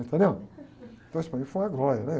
Entendeu? Então, isso foi uma glória, né?